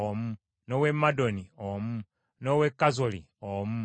n’ow’e Madoni omu, n’ow’e Kazoli omu,